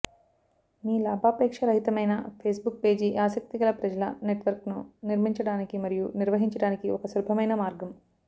మీ లాభాపేక్ష రహితమైన Facebook page ఆసక్తిగల ప్రజల నెట్వర్క్ను నిర్మించడానికి మరియు నిర్వహించడానికి ఒక సులభమైన మార్గం